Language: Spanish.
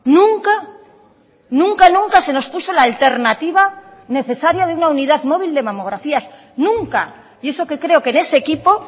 nunca nunca nunca se nos puso la alternativa necesaria de una unidad móvil de mamografías nunca y eso que creo que en ese equipo